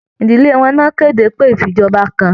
Ìdílé wọn ní wọn kéde pé ifíjọba kàn.